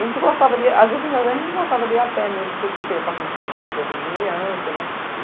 A gente gostava, as vezes a gente gostava de ir a pé mesmo, porque você ia passando pelo sítio das vizinhanças, né?!